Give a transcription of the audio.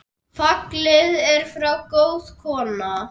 Fallin er frá góð kona.